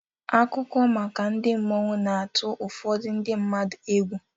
Akụkọ maka ndị mmụọ na-atụ ụfọdụ ndị mmadu egwu.